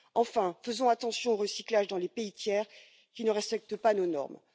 Enfin, faisons attention au recyclage dans les pays tiers qui ne respectent pas nos normes.